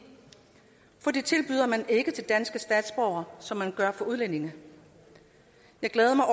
for det tilbyder man ikke til danske statsborgere som man gør til udlændinge jeg glæder mig